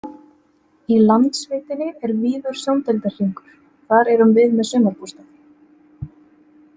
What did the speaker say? Í Landsveitinni er víður sjóndeildarhringur, þar erum við með sumarbústað.